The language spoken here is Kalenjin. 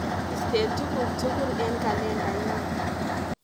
Istee tukuk tukul eng kalendainyu.